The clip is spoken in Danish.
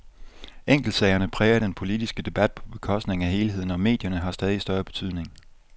Enkeltsagerne præger den politiske debat på bekostning af helheden, og medierne har stadig større betydning.